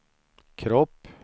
kropp